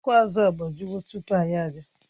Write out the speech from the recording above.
Ọkụ azụ agbajiwo tupu anyị abịa